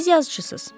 Siz yazıçısız.